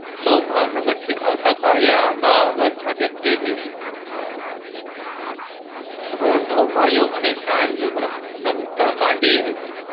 સો ભાવનગર થી આવતા કાળીયા આંબા આવસ સાથે થઇ ગયા રોંધો મડ્યો અને સાંજ નમતા રાતી એ મળી